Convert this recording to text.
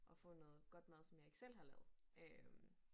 Og få noget godt mad som jeg ikke selv har lavet øh